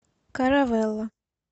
каравелла